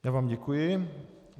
Já vám děkuji.